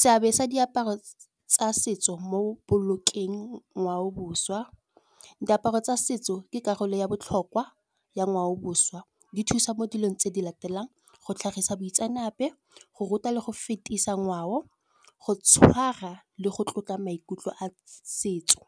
seabe sa diaparo tsa setso mo bolokeng ngwao boswa, diaparo tsa setso ke karolo ya botlhokwa ya ngwao boswa, di thusa mo dilong tse di latelang. Go tlhagisa boitseanape, go ruta le go fetisa ngwao go tshwara le go tlotla maikutlo a setso.